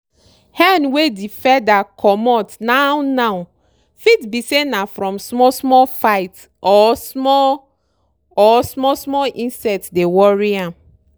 hen wey di feather comot now now fit be say na from small small fight or small or small small insects dey worry am.